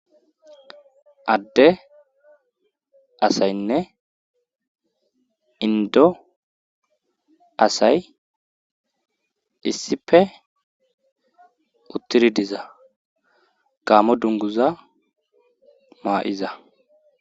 adde asaynne indo asay issife uttiri diza gaamo dunguza maa7iza